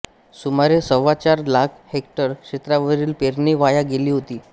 सुमारे सव्वाचार लाख हेक्टर क्षेत्रावरील पेरणी वाया गेली होती